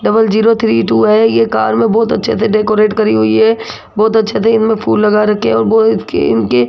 double zero three two है ये car में बहुत अच्छे से डेकोरेट करी हुई है बहोत अच्छे से इनमें फूल लगा रखे हैं और इसकी इनकी --